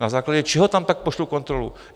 Na základě čeho tam tak pošlu kontrolu?